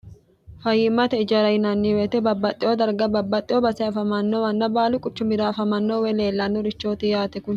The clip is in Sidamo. fayimmate ijara yinanniweyite babbaxxewo darga babbaxxeo base afamannowanna baalu quchumira afamanno woy leellannorichooti yaate kuni.